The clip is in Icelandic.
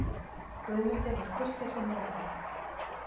Guðmundi var kurteisi meðfædd.